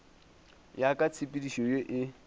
ya ka tshepedišo ye e